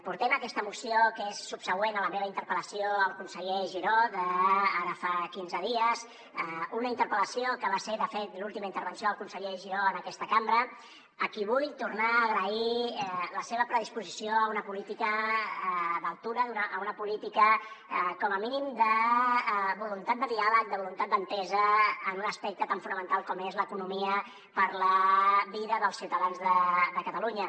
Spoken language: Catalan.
portem aquesta moció que és subsegüent a la meva interpel·lació al conseller giró d’ara fa quinze dies una interpel·lació que va ser de fet l’última intervenció del conseller giró en aquesta cambra a qui vull tornar a agrair la seva predisposició a una política d’altura a una política com a mínim de voluntat de diàleg de voluntat d’entesa en un aspecte tan fonamental com és l’economia per a la vida dels ciutadans de catalunya